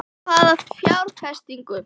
Hvaða fjárfestingu?